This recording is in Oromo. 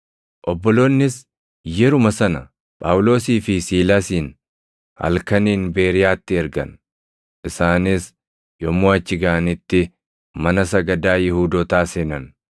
Obboloonnis yeruma sana Phaawulosii fi Siilaasin halkaniin Beeriyaatti ergan; isaanis yommuu achi gaʼanitti mana sagadaa Yihuudootaa seenan.